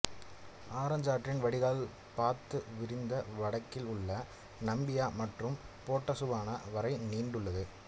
orange ஆற்றின் வடிகால் பரந்து விரிந்து வடக்கில் உள்ள நமீபியா மற்றும் போட்சுவானா வரை நீண்டுள்ளது